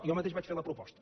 jo mateix vaig fer la proposta